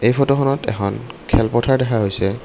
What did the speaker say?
ফটোখনত এখন খেল পথাৰ দেখা গৈছে।